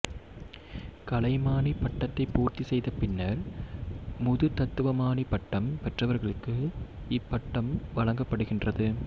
கலைமானிப் பட்டத்தைப் பூர்த்திசெய்த பின்னர் முதுதத்துவமாணி பட்டம் பெற்றவர்களுக்கு இப்பட்டம் வழங்கப்படுகின்றது